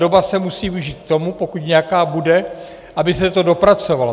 Doba se musí využít k tomu, pokud nějaká bude, aby se to dopracovalo.